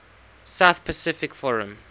south pacific forum